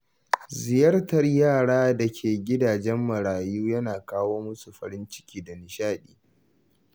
Ziyartar yaran da ke gidajen marayu yana kawo masu farin ciki da nishaɗi.